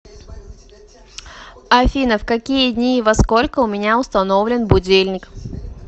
афина в какие дни и во сколько у меня установлен будильник